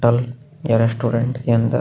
टल या रेस्टोरेंट के अंदर--